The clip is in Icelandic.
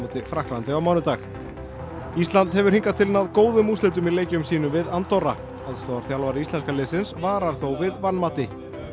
Frakklandi á mánudag hefur hingað til náð góðum úrslitum í leikjum sínum við Andorra aðstoðarþjálfari íslenska liðsins varar þó við vanmati